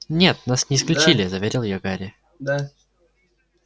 нет нас не исключили заверил её гарри